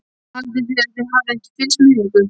Haldið þið að ég hafi ekki fylgst með ykkur?